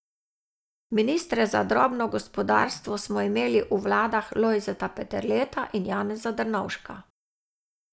Ministre za drobno gospodarstvo smo imeli v vladah Lojzeta Peterleta in Janeza Drnovška.